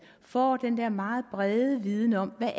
får den der meget brede viden om hvad